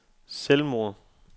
selvmord